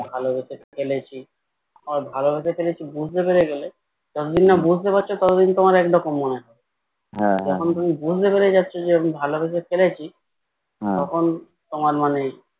ভালোবেসে ফেলেছি আবার ভালোবেসে ফেলেছি বুঝতে পেরে গেলে যতদিন না বুঝতে পারছো ততদিন তোমার একরকম মনে হয় এখন তুমি বুঝতে পেরে যাচ্ছ যে আমি ভালোবেসে ফেলেছি তখন তোমার মানে